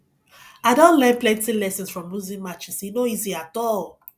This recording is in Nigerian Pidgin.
i don learn plenty lessons from losing matches e no easy at all